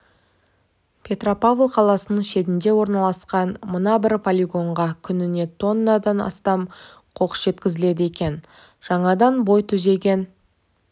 петропавл қаласының шетінде орналасқан мына бір полигонға күніне тоннадан астам қоқыс жеткізіледі екен жаңадан бой түзеген